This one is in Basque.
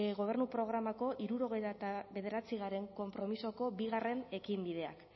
gobernu programako hirurogeita bederatzigarrena konpromisoko bigarren ekinbideak